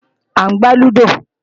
À ń gbá lúdò